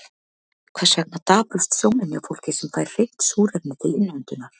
Hvers vegna daprast sjónin hjá fólki sem fær hreint súrefni til innöndunar?